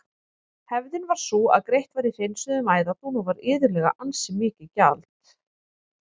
Hefðin var sú að greitt var í hreinsuðum æðadún og var iðulega ansi mikið gjald.